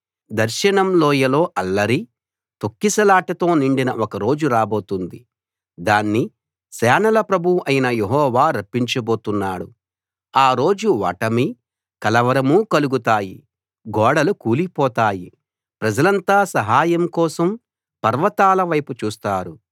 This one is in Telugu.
దర్శనం లోయలో అల్లరి తొక్కిసలాటతో నిండిన ఒక రోజు రాబోతుంది దాన్ని సేనల ప్రభువు అయిన యెహోవా రప్పించబోతున్నాడు ఆ రోజు ఓటమీ కలవరమూ కలుగుతాయి గోడలు కూలిపోతాయి ప్రజలంతా సహాయం కోసం పర్వతాల వైపు చూస్తారు